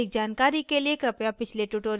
इस tutorial में हम सीखेंगे